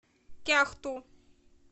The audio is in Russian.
кяхту